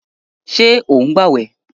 Sọ ń gbàwẹ̀?